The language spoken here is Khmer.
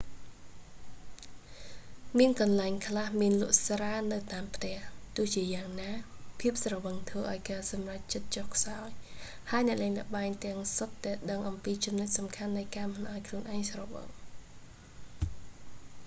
មានកន្លែងខ្លះមានលក់ស្រានៅតាមផ្ទះ ទោះជាយ៉ាងណា ភាពស្រវឹងធ្វើឱ្យការសម្រេចចិត្តចុះខ្សោយ ហើយអ្នកលេងល្បែងទាំងសុទ្ធតែដឹងអំពីចំណុចសំខាន់នៃការមិនឱ្យខ្លួនឯងស្រវឹង